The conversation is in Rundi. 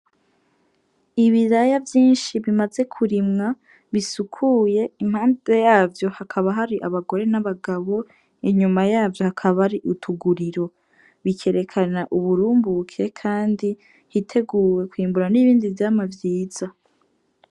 Ibiraya vyishi bimaze kurimwa bisukuye impande yavyo hakaba hari abagore b'abagabo inyuma yavyo hakaba hari utuguriro, bikerekana uburumbuke kandi hiteguwe kwimbura n'ibindi vyamwa vyiza.